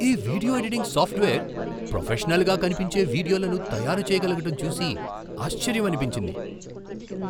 ఈ video editing software ప్రొఫెషనల్గా కనిపించే వీడియోలను తయారు చేయగలగటం చూసి ఆశ్చర్యమనిపించింది.